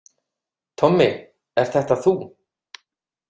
Tommi, ert þetta þú?